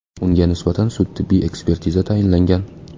Unga nisbatan sud-tibbiy ekspertiza tayinlangan.